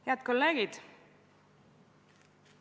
Head kolleegid!